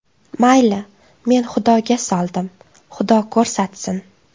Mayli, men Xudoga soldim, Xudo ko‘rsatsin.